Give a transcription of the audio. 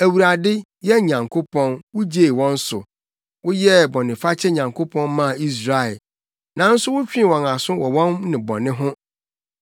Awurade, yɛn Nyankopɔn, wugyee wɔn so; woyɛɛ bɔnefakyɛ Nyankopɔn maa Israel, nanso wotwee wɔn aso wɔ wɔn nnebɔne ho.